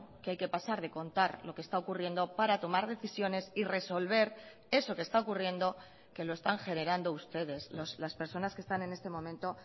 que hay que pasar de contar lo que está ocurriendo para tomar decisiones y resolver eso que está ocurriendo que lo están generando ustedes las personas que están en este momento